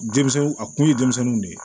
Denmisɛnnin a kun ye denmisɛnninw de ye